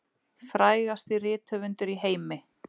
Frægasti rithöfundur í heimi